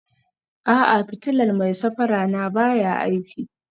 A'a, fitilar mai safara na baya aiki